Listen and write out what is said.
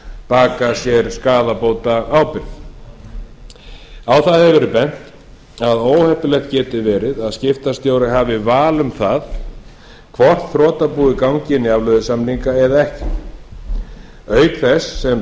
bakað sér skaðabótaábyrgð á það hefur verið bent að óheppilegt geti verið að skiptastjóri hafi val um það hvort þrotabúið gangi inn í afleiðusamninga eða ekki auk þess sem